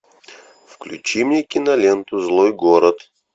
включи мне киноленту злой город